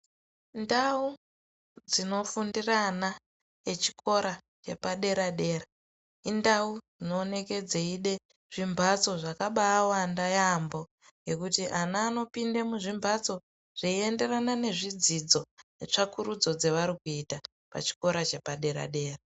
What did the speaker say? Ndau dzinofundira ana echikora yepadera dera indau dzinooneke dzeida zvimbatso zvakabaawanda yaamho ngekuti ana anopinde muzvimbatso zveienderana nezvidzidzo netsvakurudzo dzevari kuita pachikora chepadera dera.